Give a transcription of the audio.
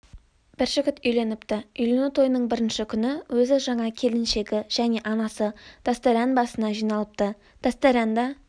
бір жігіт үйленіпті үйлену тойының бірінші күні өзі жаңа келіншегі және анасы дастаріан басына жиналыпты дастаріанда